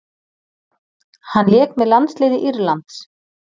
Hann lék með landsliði Írlands.